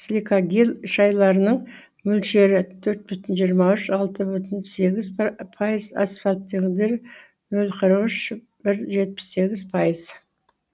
силикагель шайырларының мөлшері төрт бүтін жиырм үш алты бүтін сегіз пайыз асфальтелдері нөл қырық үш бір жетпіс сегіз пайыз